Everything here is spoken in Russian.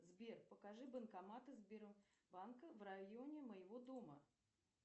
сбер покажи банкоматы сбербанка в районе моего дома